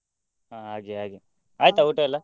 ಹಾ ಹಾಗೆ ಹಾಗೆ ಊಟಯೆಲ್ಲ?